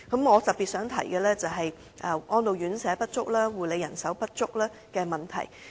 我特別想提述的是安老院舍及護理人手不足的問題。